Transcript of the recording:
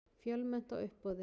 Fjölmennt á uppboði